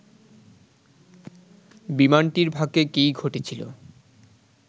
বিমানটির ভাগ্যে কি ঘটেছিল